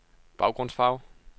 baggrundsfarve